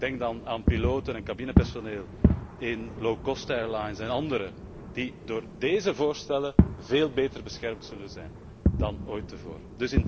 Ik denk dan aan piloten en cabinepersoneel in low cost airlines en anderen die door déze voorstellen veel beter beschermd zullen zijn dan ooit tevoren.